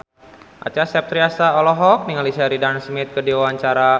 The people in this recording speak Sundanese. Acha Septriasa olohok ningali Sheridan Smith keur diwawancara